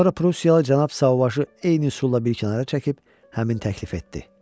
Sonra Prussiyalı cənab Sauvajı eyni üsulla bir kənara çəkib həmin təklif etdi.